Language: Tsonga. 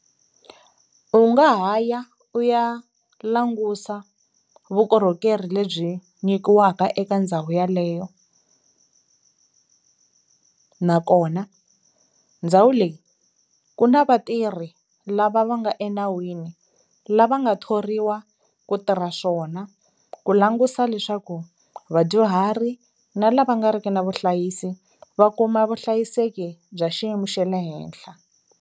U nga ha ya u ya langusa vukorhokeri lebyi nyikiwaka eka ndhawu yaleyo nakona ndhawu leyi ku na vatirhi lava va nga enawini lava nga thoriwa ku tirha swona ku langusa leswaku vadyuhari na lava nga ri ki na vuhlayisi va kuma vuhlayiseki bya xiyimo xe le henhla.